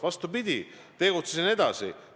Vastupidi, ma tegutsesin edasi.